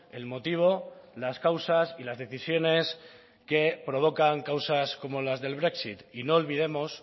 el motivo las causas y las decisiones que provocan causas como las del brexit y no olvidemos